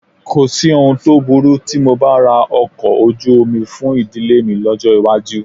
Kò sí ohun tó burú tí mo bá ra ọkọ̀ ojú omi fún ìdílé mi lọ́jọ́ iwájú